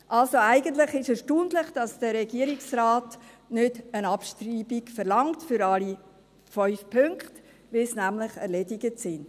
Also: Eigentlich ist es erstaunlich, dass der Regierungsrat nicht für alle 5 Punkte eine Abschreibung verlangt, weil sie nämlich erledigt sind.